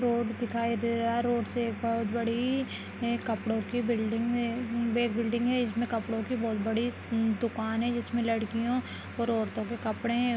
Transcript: Road दिखाई दे रहा है रोड से एक बहुत बड़ी कपड़ों की बिल्डिंग में एक बिल्डिंग है इसमें कपड़ों की बहुत बड़ी दुकान है जिसमें लड़कियों और औरतों के कपड़े है।